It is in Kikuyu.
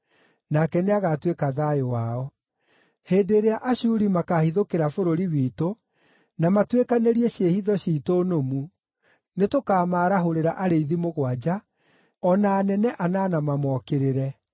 Nake nĩagatuĩka thayũ wao. Ũhonokania na Mwanangĩko Hĩndĩ ĩrĩa Ashuri makaahithũkĩra bũrũri witũ, na matuĩkanĩrie ciĩhitho ciitũ nũmu, nĩtũkamaarahũrĩra arĩithi mũgwanja, o na anene anana mamokĩrĩre.